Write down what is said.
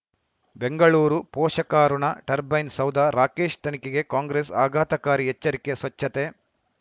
ಬೆಂಗಳೂರು ಪೋಷಕಋಣ ಟರ್ಬೈನು ಸೌಧ ರಾಕೇಶ್ ತನಿಖೆಗೆ ಕಾಂಗ್ರೆಸ್ ಆಘಾತಕಾರಿ ಎಚ್ಚರಿಕೆ ಸ್ವಚ್ಛತೆ